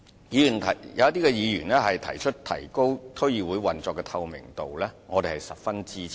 有議員建議提高區議會運作的透明度，我們是十分支持的。